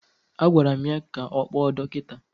Agwara m ya ka ọ kpọọ dọkịta!